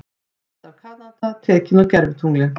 Mynd af Kanada tekin úr gervitungli.